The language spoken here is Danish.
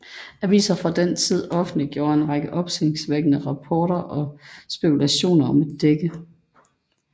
Aviser fra den tid offentliggjore en række opsigtsvækkende rapporter og spekulationer om et dække